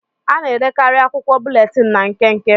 A na-edekarị akwụkwọ búlétin ná nkenke